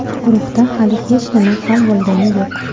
Guruhda hali hech nima hal bo‘lgani yo‘q.